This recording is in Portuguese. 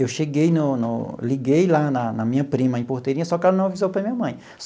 Eu cheguei no no liguei lá na na minha prima em Porteirinha, só que ela não avisou para a minha mãe.